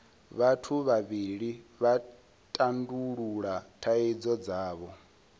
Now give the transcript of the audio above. vhathu vhavhili vha tandulula thaidzo dzavho